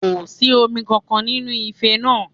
Kò sí omi kankan nínú ife náà